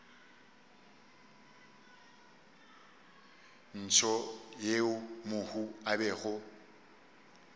ntsho yeo mohu a bego